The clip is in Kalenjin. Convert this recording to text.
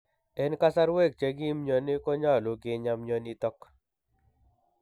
En kasarwek che kim myoni konyolu kinyaa myonitok